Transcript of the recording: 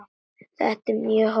Þetta er mjög hollt.